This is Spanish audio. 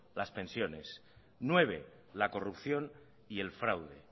las pensiones nueve la corrupción y el fraude